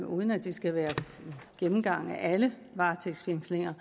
uden at det skal være en gennemgang af alle varetægtsfængslinger